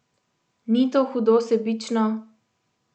Ni to hudo sebično?